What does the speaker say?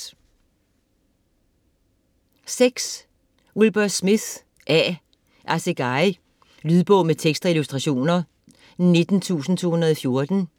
Smith, Wilbur A.: Assegai Lydbog med tekst og illustrationer 19214